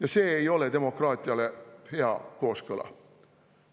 Aga see ei ole demokraatiale hea kooskõla.